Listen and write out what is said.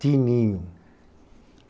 Tininho.